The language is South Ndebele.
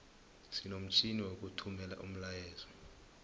sinomtjhini wokuthumela umlayeezo